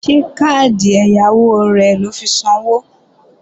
Ṣé káàdì ẹ̀yáwó rẹ lọ fi sanwó?